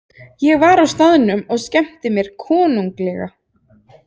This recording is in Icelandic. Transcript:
Ég var á staðnum og skemmti mér konunglega.